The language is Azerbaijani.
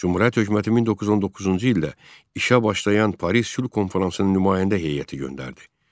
Cümhuriyyət hökuməti 1919-cu ildə işə başlayan Paris Sülh Konfransına nümayəndə heyəti göndərdi.